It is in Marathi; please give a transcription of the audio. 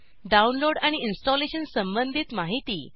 डाऊनलोड आणि इंस्टॉलेशनसंबंधित माहिती